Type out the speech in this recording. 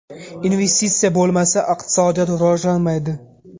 Investitsiya bo‘lmasa, iqtisodiyot rivojlanmaydi.